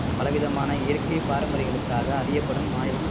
பல விதமான இயற்கை பாரம்பரியங்களுக்காக அறியப்படும் மாநிலம்